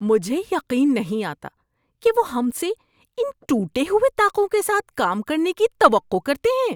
مجھے یقین نہیں آتا کہ وہ ہم سے ان ٹوٹے ہوئے طاقوں کے ساتھ کام کرنے کی توقع کرتے ہیں۔